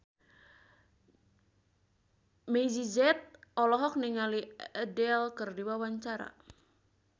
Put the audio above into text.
Meggie Z olohok ningali Adele keur diwawancara